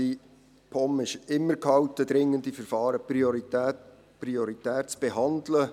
Die POM ist immer gehalten, dringende Verfahren prioritär zu behandeln.